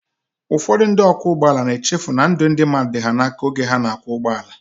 Ụfọdụ ndị ọkwọụgbọala na-echefu na ndụ ndị mmadụ dị ha n'aka oge ha na-akwọ ụgbọ